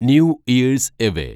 new years away